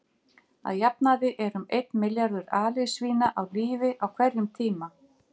Að jafnaði eru um einn milljarður alisvína á lífi á hverjum tíma.